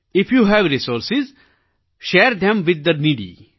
if you have resources share them with the નેડી